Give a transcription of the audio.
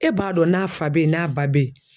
E b'a dɔn n'a fa bɛ ye n'a ba bɛ ye.